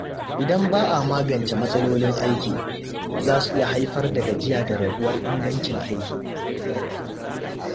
Idan ba a magance matsalolin aiki, zasu iya haifar da gajiya da raguwar ingancin aiki.